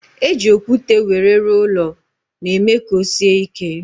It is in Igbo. E ji okwute wéré rụọ ụlọ na eme ka ọ sie ike